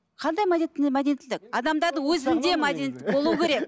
қандай мәдениеттілік адамдардың өзінде мәдениет болуы керек